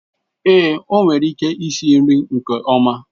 Ee, o nwere ike isi nri nke ọma.